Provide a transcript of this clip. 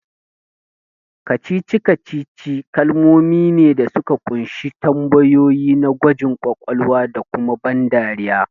Kacici-kacici kalamai ne da suka kunshi tambayoyi na gwajin kwakwalwa da kuma ban dariya